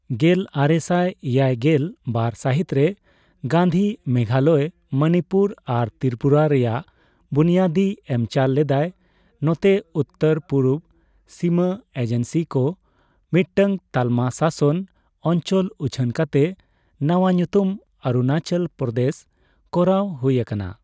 ᱜᱮᱞᱟᱨᱮᱥᱟᱭ ᱮᱭᱟᱭᱜᱮᱞ ᱵᱟᱨ ᱥᱟᱹᱦᱤᱛᱨᱮ, ᱜᱟᱱᱫᱷᱤ ᱢᱮᱜᱷᱟᱞᱚᱭ, ᱢᱚᱱᱤᱯᱩᱨ ᱟᱨ ᱛᱨᱤᱯᱩᱨᱟ ᱨᱮᱭᱟᱜ ᱵᱩᱱᱭᱟᱹᱫᱤ ᱮᱢᱪᱟᱞ ᱞᱮᱫᱟᱭ, ᱱᱚᱛᱮ ᱩᱛᱛᱚᱨᱼᱯᱩᱨᱩᱵᱽ ᱥᱤᱢᱟᱹ ᱮᱡᱮᱱᱥᱤᱠᱚ ᱢᱤᱫᱴᱟᱝ ᱛᱟᱞᱢᱟ ᱥᱟᱥᱚᱱ ᱚᱧᱪᱚᱞ ᱩᱪᱷᱟᱹᱱ ᱠᱟᱛᱮ ᱱᱟᱣᱟ ᱧᱩᱛᱩᱢ ᱚᱨᱩᱱᱟᱪᱚᱞ ᱯᱨᱚᱫᱮᱥ ᱠᱚᱨᱟᱣ ᱦᱩᱭ ᱟᱠᱟᱱᱟ ᱾